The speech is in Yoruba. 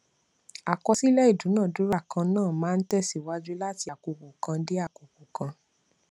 àkọsílẹ ìdúnadúrà kan náà máa ń tẹsíwájú láti àkókò kan dé àkókò kan